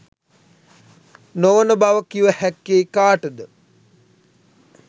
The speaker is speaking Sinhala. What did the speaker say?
නොවන බව කිව හැක්කේ කාටද?